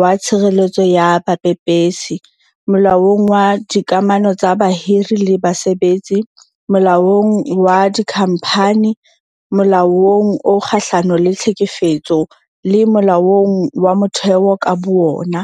wa Tshireletso ya Bapepesi, Molaong wa Dika mano tsa Bahiri le Basebetsi, Molaong wa Dikhamphani, Molaong o Kgahlano le Tlhekefetso, le Molaong wa Motheo ka bowona.